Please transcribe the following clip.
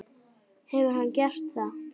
Hefur hann gert það?